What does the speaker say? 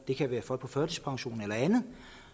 det kan være folk på førtidspension eller andet